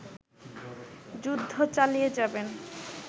যুদ্ধ চালিয়ে যাবেন